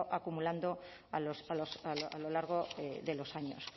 acumulando a lo largo de los años